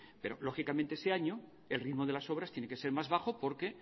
pero lógicamente ese año el ritmo de las obras tiene que ser más bajo porque